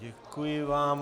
Děkuji vám.